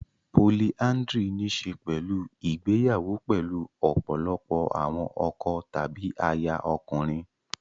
Polyandry ní í ṣe pẹ̀lú ìgbéyàwó pẹ̀lú ọ̀pọ̀lọpọ̀ àwọn ọkọ tàbí aya ọkùnrin.